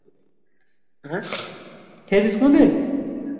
হ্যাঁ খেয়েছিস কোনো দিন